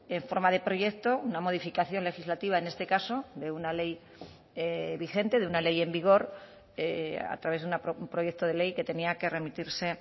en forma de proyecto una modificación legislativa en este caso de una ley vigente de una ley en vigor a través de un proyecto de ley que tenía que remitirse